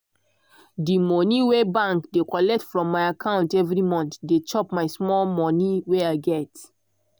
de moni wey bank dey collect from my account every month dey chop my small money wey i get.